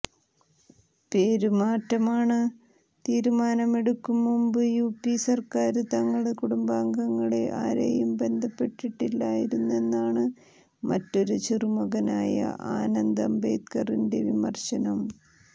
പേരുമാറ്റാന് തീരുമാനമെടുക്കും മുമ്പ് യുപി സര്ക്കാര് തങ്ങള് കുടുംബാംഗങ്ങളെ ആരേയും ബന്ധപ്പെട്ടിട്ടിരുന്നില്ലെന്നാണ് മറ്റൊരു ചെറുമകനായ ആനന്ദ് അംബേദ്കറിന്റെ വിമര്ശനം